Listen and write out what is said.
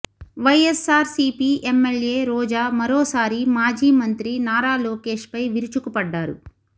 YSRCP MLA Roja మరోసారి మాజీ మంత్రి నారా లోకేష్ పై విరుచుకుపడ్డారు